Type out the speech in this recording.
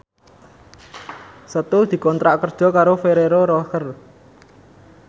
Setu dikontrak kerja karo Ferrero Rocher